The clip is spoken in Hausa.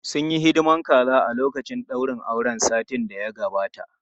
Sun yi hidimar kaza a lokacin daurin auren satin da ya gabata.